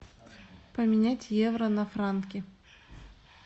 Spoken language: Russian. поменять евро на франки